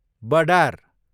बडार